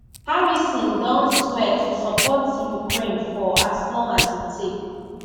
harrisdon swear to support ukraine for as long as e take